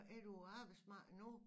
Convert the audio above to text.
Er du på arbejdsmarkedet nu